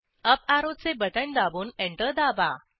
up ऍरोचे बटण दाबून एंटर दाबा